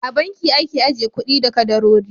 A banki ake ajiye kuɗi da kadarori.